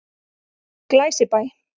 Glæsibæ